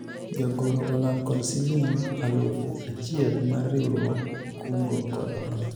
jagoro olal kod siling alufu achiel mar riwruog kungo kod hola